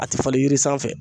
A tɛ falen yiri sanfɛ